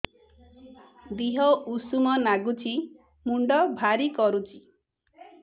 ଦିହ ଉଷୁମ ନାଗୁଚି ମୁଣ୍ଡ ଭାରି କରୁଚି